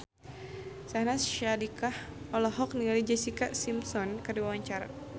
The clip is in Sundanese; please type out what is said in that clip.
Syahnaz Sadiqah olohok ningali Jessica Simpson keur diwawancara